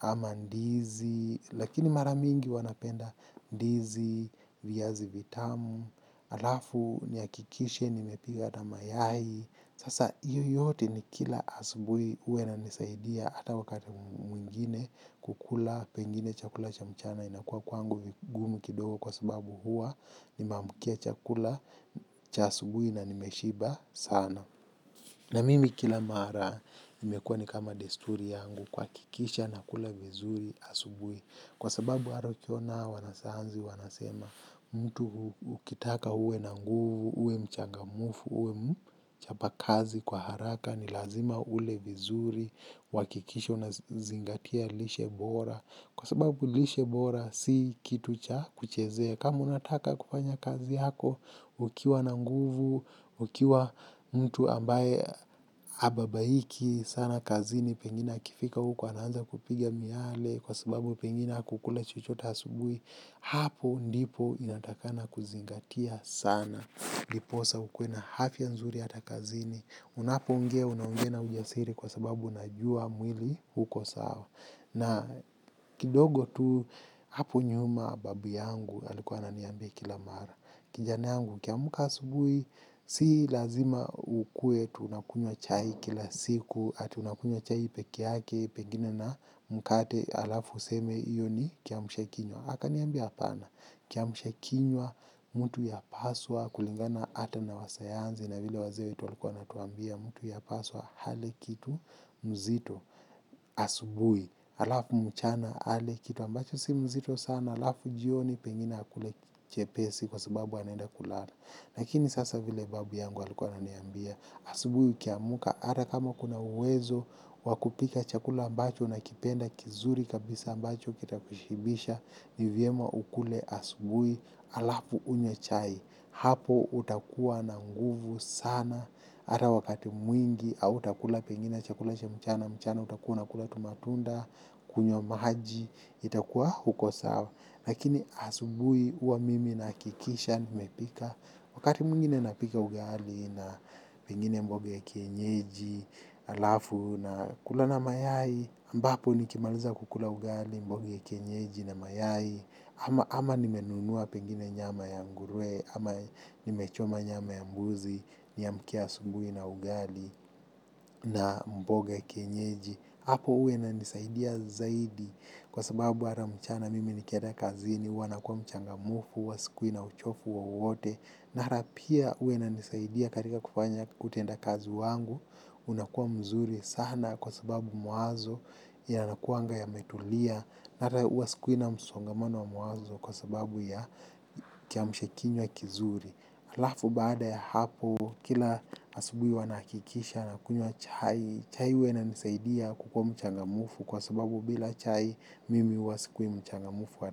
ama ndizi lakini mara mingi huwa napenda ndizi, viazi vitamu, halafu nihakikishe nimepika ata mayai. Sasa hiyo yote nikila asubuhi huwa yananisaidia hata wakati mwingine kukula pengine chakula cha mchana inakuwa kwangu ni gumu kidogo kwa sababu huwa nimeamkia chakula cha asubuhi na nimeshiba sana. Na mimi kila mara imekuwa ni kama desturi yangu kuhakikisha nakula vizuri asubuhi. Kwa sababu hata ukiona hawa wanasayansi wanasema mtu ukitaka uwe na nguvu uwe mchangamfu uwe mchapa kazi kwa haraka ni lazima ule vizuri uhakikishe unazingatia lishe bora. Kwa sababu lishe bora, si kitu cha kuchezea. Kama unataka kufanya kazi yako, ukiwa na nguvu, ukiwa mtu ambaye hababaiki, sana kazini, pengine akifika huko, anaanza kupiga miale, kwa sababu pengina hakukula chochote asubuhi, hapo ndipo inatakana kuzingatia sana. Ndiposa ukuwe na afya nzuri hata kazini, unapoongea, unaongea na ujasiri kwa sababu unajua mwili uko sawa. Na kidogo tu hapo nyuma babu yangu alikuwa ananiambia kila mara. Kijana yangu ukiamka asubuhi si lazima ukuwe eti unakunywa chai kila siku, ati unakunywa chai pekee yake pengine na mkate halafu useme hiyo ni kiamshakinywa. Akaniambia hapana. Kiamshakinywa, mtu yapaswa kulingana ata na wasayansi na vile wazee wetu walikuwa wametuambia mtu yapaswa ale kitu mzito asubuhi. Kama unataka kufanya kazi yako, ukiwa na nguvu, ukiwa mtu ambaye hababaiki, sana kazini, pengine akifika huko, anaanza kupiga miale, kwa sababu pengine hakukula chochote asubui, hapo ndipo inatakikana kuzingatia sana. Lakini sasa vile babu yangu alikuwa ananiambia, asubuhi ukiamka, hata kama kuna uwezo wa kupika chakula ambacho unakipenda kizuri kabisa ambacho kitakushibisha, ni vyema ukule asubuhi halafu unywe chai. Hapo utakuwa na nguvu sana, hata wakati mwingi, au utakula pengine chakula cha mchana, mchana utakua unakula tu matunda, kunywa maji, itakuwa uko sawa. Lakini asubuhi uwa mimi nahakikisha nimepika. Wakati mwingine napika ugali na pengine mboga ya kienyeji, halafu nakula na mayai, ambapo nikimaliza kukula ugali mboga ya kienyeji na mayai, ama nimenunua pengine nyama ya nguruwe, ama nimechoma nyama ya mbuzi, niamkie asubuhi na ugali. Na mboga kienyeji. Hapo huwa inanisaidia zaidi kwa sababu hata mchana mimi nikienda kazini, huwa nakuwa mchangamfu, huwa sikui na uchovu wowote na hata pia huwa inanisaidia katika kutenda kazi wangu unakua mzuri sana kwa sababu mwanzo yanakuanga yametulia na hata huwa sikui na msongamano wa mawazo kwa sababu ya kiamsha kinywa kizuri. Halafu baada ya hapo kila asubuhi huwa nahakikisha nakunywa chai. Chai huwa inanisaidia kukua mchangamfu kwa sababu bila chai mimi huwa sikui mchangamfu.